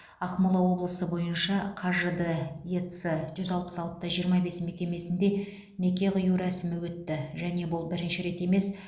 ақмола облысы бойынша қажд ец жүз алпыс алты да жиырма бес мекемесінде неке қию рәсімі өтті және бұл бірінші рет емес